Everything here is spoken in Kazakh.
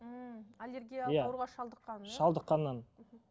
ммм аллергиялық иә ауруға шалдыққаннан шалдыққаннан мхм